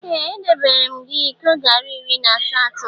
Ee! Edebeere m gị iko garị iri na asatọ.